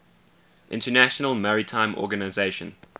international maritime organization